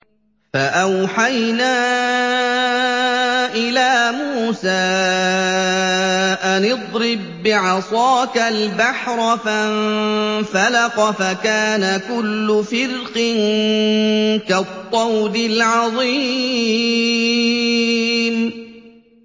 فَأَوْحَيْنَا إِلَىٰ مُوسَىٰ أَنِ اضْرِب بِّعَصَاكَ الْبَحْرَ ۖ فَانفَلَقَ فَكَانَ كُلُّ فِرْقٍ كَالطَّوْدِ الْعَظِيمِ